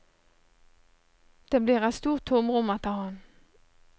Det blir et stort tomrom etter ham.